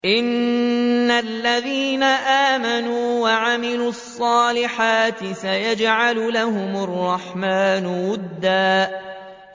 إِنَّ الَّذِينَ آمَنُوا وَعَمِلُوا الصَّالِحَاتِ سَيَجْعَلُ لَهُمُ الرَّحْمَٰنُ وُدًّا